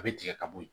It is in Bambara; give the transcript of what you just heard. A bɛ tigɛ ka bɔ ye